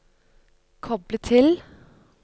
koble til